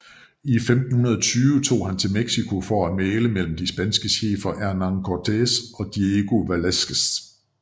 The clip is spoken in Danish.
I 1520 tog han til Mexico for at mægle mellem de spanske chefer Hernán Cortés og Diego Velázquez